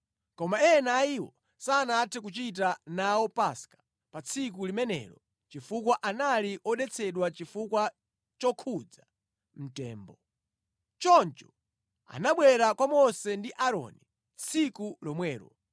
Koma ena a iwo sanathe kuchita nawo Paska pa tsiku limenelo chifukwa anali odetsedwa chifukwa chokhudza mtembo. Choncho anabwera kwa Mose ndi Aaroni tsiku lomwelo,